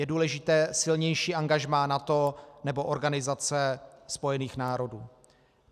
Je důležité silnější angažmá NATO nebo Organizace spojených národů.